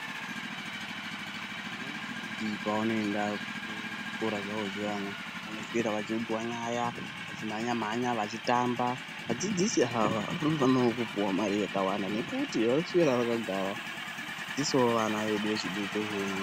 Vana vechidiki pavanoenda kuzvikora zvawo zviyani vanoswera vachiudzwa nyaya vachimhanya mhanya vachitamba vadzidzisi haa vanofanowo kupuwa mare yakawanda nekuti vanoswera vakagara vechidzidzisawo vana vedu vechidiki hunhu.